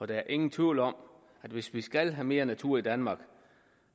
der er ingen tvivl om at det hvis vi skal have mere natur i danmark